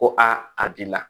Ko a b'i la